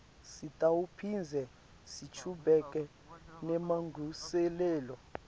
sitawuphindze sichubeke nemalungiselelo